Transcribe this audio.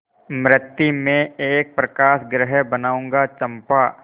मृति में एक प्रकाशगृह बनाऊंगा चंपा